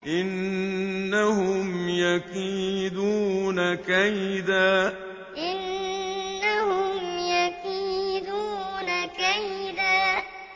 إِنَّهُمْ يَكِيدُونَ كَيْدًا إِنَّهُمْ يَكِيدُونَ كَيْدًا